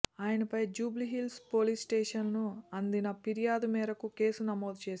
ఆయనపై జూబ్లీహిల్స్ పోలీస్ స్టేషన్కు అందిన ఫిర్యాదు మేరకు కేసు నమోదు చేశారు